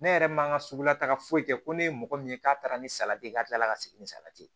Ne yɛrɛ man ka sugulataga foyi kɛ ko ne ye mɔgɔ min ye k'a taara ni salati ye ka tila ka segin ni salati ye